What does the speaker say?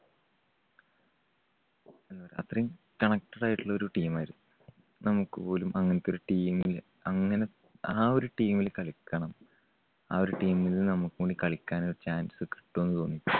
അത്രയും connected ആയിട്ടുള്ള ഒരു team മായിരുന്നു. നമുക്കുപോലും അങ്ങനത്തെ ഒരു team ല്, അങ്ങനെ ആ ഒരു team ല് കളിക്കണം ആ ഒരു team ൽ നമുക്കുകൂടി കളിക്കാൻ ഒരു chance കിട്ടുവോന്ന് തോന്നി.